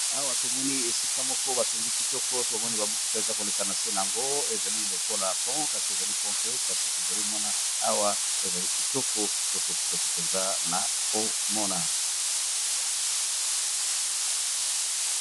Awa tomoni esika moko batongi kitoko, ezali komonana lokola ponts, mais eza ponts te